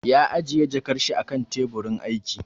Ya ajiye jakar shi a kan teburin aiki